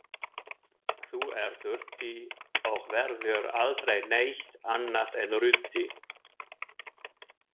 Þú ert ruddi og verður aldrei neitt annað en ruddi.